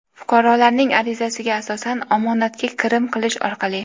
fuqarolarning arizasiga asosan omonatga kirim qilish orqali;.